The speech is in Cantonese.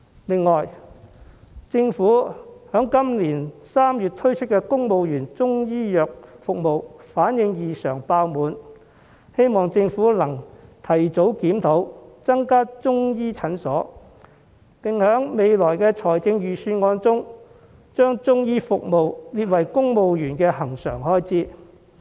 此外，政府在今年3月推出的公務員中醫藥服務反應異常熱烈，希望政府能夠提早檢討，增加中醫診所，並在未來的預算案中，把中醫服務列為公務員的恆常開支。